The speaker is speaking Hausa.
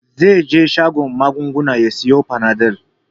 Zai je shagon magunguna ya sayi fanadol.